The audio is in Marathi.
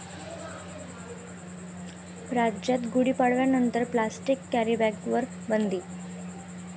राज्यात गुढीपाडव्यानंतर प्लॅस्टिक कॅरीबॅगवर बंदी!